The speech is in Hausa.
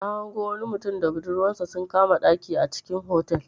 Na hango wani mutum da budurwansa sun kama ɗaki a cikin otal.